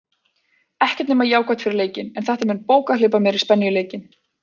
Ekkert nema jákvætt fyrir leikinn, en þetta mun bókað hleypa meiri spennu í leikinn.